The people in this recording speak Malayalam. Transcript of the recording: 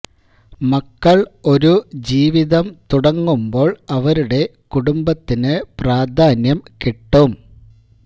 മക്കള് ഒരു ജീവിതം തുടങ്ങുമ്ബോള് അവരുടെ കുടുംബത്തിന് പ്രാധാന്യം കിട്ടും